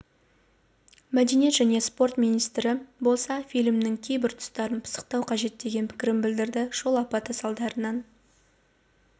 мәдениет және спорт министрі болса фильмнің кейбір тұстарын пысықтау қажет деген пікірін білдірді жол апаты салдарынан